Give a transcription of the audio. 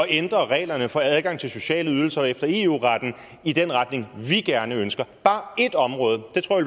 ændre reglerne for adgang til sociale ydelser efter eu retten i den retning vi gerne ønsker bare ét område det tror